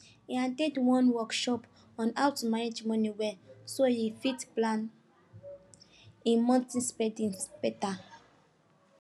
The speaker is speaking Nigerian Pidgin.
he at ten d one workshop on how to manage money well so he fit plan him monthly spending better